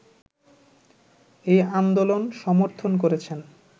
এই আন্দোলন সমর্থন করেছেন